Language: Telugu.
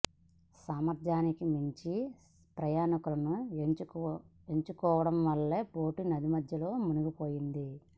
సామర్థ్యానికి మించి ప్రయాణికులను ఎక్కించుకోవడం వల్ల బోటు నది మధ్యలో మునిగిపోయింది